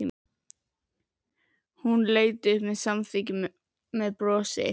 Hún leit upp og samþykkti með brosi.